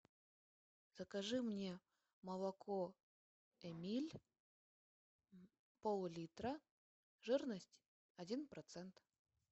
закажи мне молоко эмиль пол литра жирность один процент